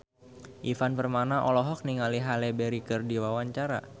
Ivan Permana olohok ningali Halle Berry keur diwawancara